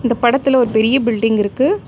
இந்த படத்துல ஒரு பெரிய பில்டிங் இருக்கு.